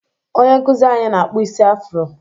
Onye nkụzị anyị na-akpụ isi afro.